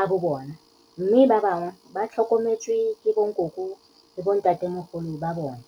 a bo bona mme ba bangwe ba tlhokometswe ke bonkoko le bontatemogolo ba bona.